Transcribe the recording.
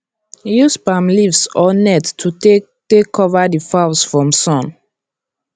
use palm leaves or net to take take cover the fowls from sun